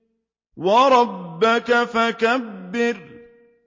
وَرَبَّكَ فَكَبِّرْ